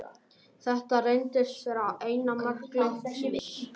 Þetta reyndist vera eina mark leiksins.